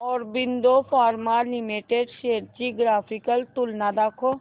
Aurobindo pharma limited shares ची graphical तुलना दाखव